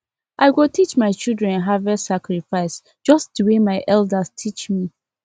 i go teach my children harvest sacrifice just the way my elders teach me